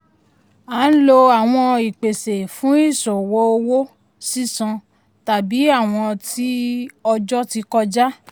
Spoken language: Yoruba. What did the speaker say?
a ń lò àwọn ìpèsè fún ìṣòwò owó sísan tàbí àwọn tí ọjọ́ ti kọjá.